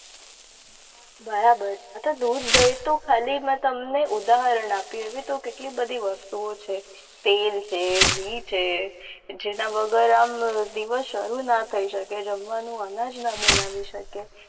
બરાબર દૂધ દહીં તો ખાલી મેં તમને ઉદાહરણ આપ્યું એવી તો કેટલી બધી વસ્તુઓ છે. તેલ છે ઘી છે. જેના વગર આમ દિવસ શરૂ ના થઇ શકે જમવાનું અનાજ ના બનાવી શકે.